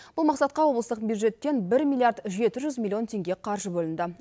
бұл мақсатқа облыстық бюджеттен бір миллиард жеті жүз миллион теңге қаржы бөлінді